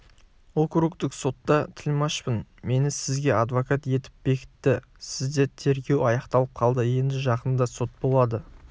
округтік сотта тілмашпын мені сізге адвокат етіп бекітті сізде тергеу аяқталып қалды енді жақында сот болады